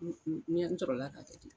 N n n n ɲɛ in sɔrɔ a ka kɛ ten